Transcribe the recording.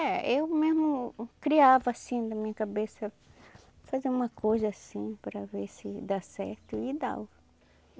É, eu mesmo criava assim da minha cabeça, fazia uma coisa assim para ver se dá certo e dava.